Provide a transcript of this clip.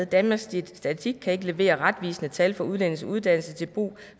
danmarks statistik kan ikke levere retvisende tal for udlændinges uddannelse til brug